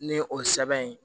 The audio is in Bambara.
Ni o sɛbɛn ye